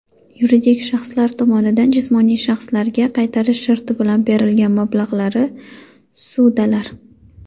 Yuridik shaxslar tomonidan jismoniy shaxslarga qaytarish sharti bilan berilgan mablag‘lari (ssudalar).